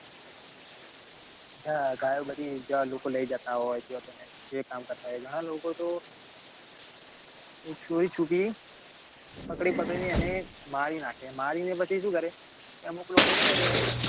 અચ્છા જ્યાં ગાયો બધી લોકો લઇ જતા હોય જ્યાં તેને જે કામ કરતા હોય ઘણાં લોકો તો ચોરીછૂપી પકડી પકડીને એને મારી નાખે મારી નાખીને પછી સુ કરેએ અમુક લોકો છે ને